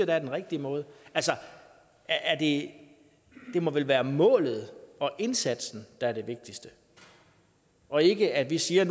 da er den rigtige måde altså det må vel være målet og indsatsen der er det vigtigste og ikke at vi siger